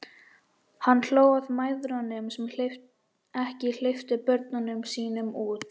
Hann hló að mæðrunum sem ekki hleyptu börnunum sínum út.